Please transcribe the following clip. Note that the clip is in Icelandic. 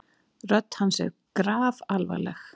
Rödd hans er grafalvarleg.